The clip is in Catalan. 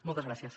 moltes gràcies